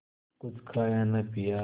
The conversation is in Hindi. कुछ खाया न पिया